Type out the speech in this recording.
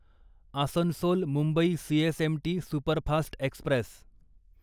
Asansol Mumbai CSMT superfast Express